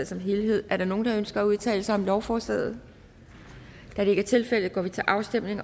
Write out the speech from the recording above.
som helhed er der nogen der ønsker at udtale sig om lovforslaget da det ikke er tilfældet går vi til afstemning